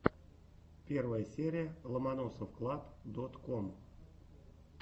первая серия ломоносовклаб дот ком